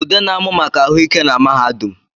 Ude na-amụ maka ahụ ike na mahadum